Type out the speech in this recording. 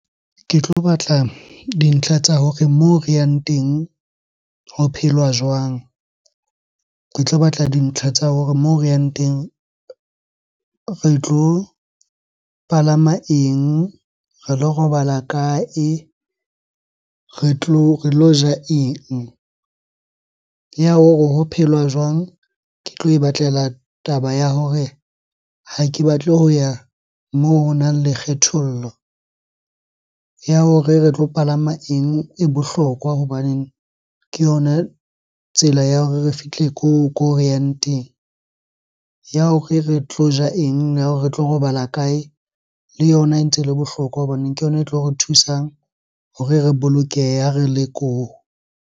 Ke tlo batla dintlha tsa hore moo re yang teng ho phelwa jwang? Ke tlo batla dintlha tsa hore moo re yang teng re tlo palama eng? Re lo robala kae? Re tlo, re lo ja eng? Ya hore ho phelwa jwang? Ke tlo e batlela taba ya hore ha ke batle ho ya moo honang le kgethollo. Ya hore re tlo palama eng e bohlokwa hobaneng ke yona tsela ya hore re fihle ko re yang teng. Ya hore re tlo ja eng? Ya hore re tlo robala kae? Le yona e ntse ele bohlokwa hobaneng ke yona e tlo re thusang hore re bolokehe ha re le koo.